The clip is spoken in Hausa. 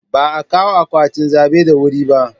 Ba a kawo akwatin zabe da wuri ba.